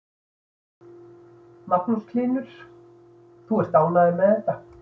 Magnús Hlynur: Og ert þú ánægður með þetta?